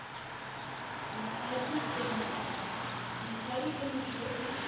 motshabi ke motho yo o